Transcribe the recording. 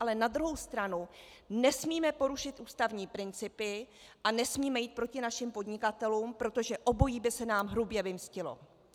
Ale na druhou stranu nesmíme porušit ústavní principy a nesmíme jít proti našim podnikatelům, protože obojí by se nám hrubě vymstilo.